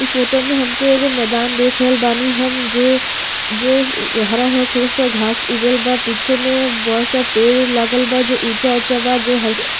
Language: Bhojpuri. इ फोटो में हमके एगो मैदान देख रहल बानी हम जो जो हरा हरा छोटा छोटा घास उगल बा। पीछे में बोहोत सारा पेड़ लागल बा जो ऊंचा ऊंचा बा जो हल --